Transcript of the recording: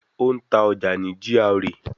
Ó ń ta ọjà ní GRA